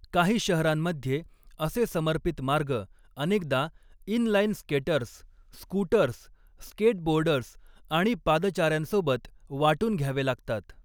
काही शहरांमध्ये असे समर्पित मार्ग अनेकदा inline skaters, scooters, skateboarders आणि पादचाऱ्यांसोबत वाटून घ्यावे लागतात.